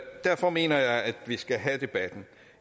derfor mener jeg at vi skal have debatten